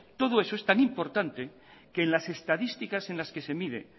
todo eso es tan importante que en las estadísticas en las que se mide